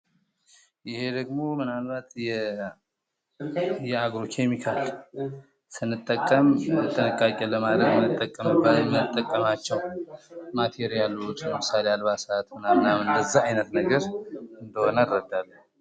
ይህ ደግሞ ምናልባት የአገው ኬሚካል ስንጠቅም ጥንቃቄ ለማድረግ የምንጠቀማቸው ማተሪያሎች ለምሳሌ አልባሳት ምናምን እንደዚህ አይነት ነገር እንደሆነ እረዳለሁ።